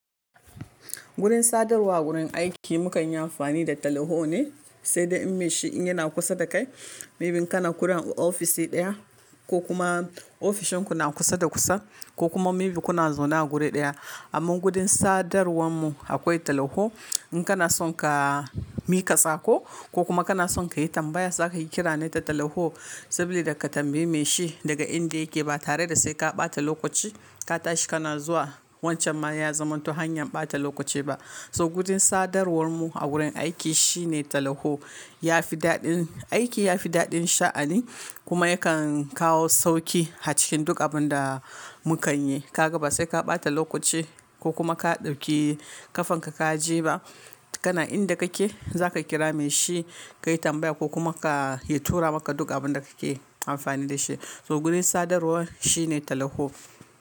Gurin sadarwa a wurin aiki mu kan yi amfani da talaho ne, sai dai in mai shi in yana kusa da kai, maybe in kana kurin a ofisi ɗaya ko kuma ofishin ku na kusa da kusa ko kuma maybe kuna zona a guri ɗaya. Amman gurin sadarwar mu akwai talaho. In kana son ka mika sako ko kuma kana son ka yi tambaya za ka yi kira ne ta talaho sabida ka tambayi mai shi daga inda yake ba tare da sai ka ɓata lokoci ka tashi kana zuwa. Wancan ma ya zamanto hanyar ɓata lokoci ba. So gurin sadarwar mu a wurin aiki shine talaho, ya fi daɗin aiki, ya fi daɗin sha'ani kuma yakan kawo sauki a cikin duk abun da mu kan yi. Ka gaba sai ka ɓata lokoci ko kuma ka ɗauki kafanka ka je ba. Kana inda kake za ka kira mai shi, ka yi tambaya ko kuma ka-- ya tura maka duk abun da kake amfani da shi. To gurin sadarwar shine talaho.